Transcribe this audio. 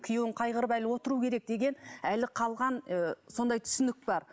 күйеуін қайғырып әлі отыру керек деген әлі қалған ы сондай түсінік бар